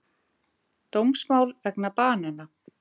Dómsmál vegna banana